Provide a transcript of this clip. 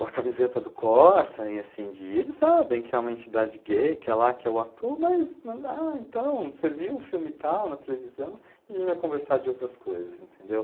a camiseta do Corsa, e assim, eles sabem que é uma entidade gay, que é lá que é o ato, mas, ah, então, você viu o filme tal na televisão, e a gente vai conversar de outras coisas, entendeu?